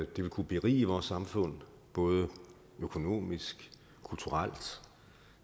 det vil kunne berige vores samfund både økonomisk kulturelt og